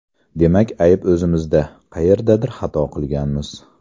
Demak ayb o‘zimizda: qayerdadir xato qilganmiz”.